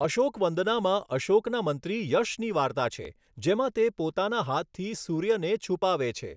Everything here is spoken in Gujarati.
અશોકવંદનામાં અશોકના મંત્રી યશની વાર્તા છે જેમાં તે પોતાના હાથથી સૂર્યને છુપાવે છે.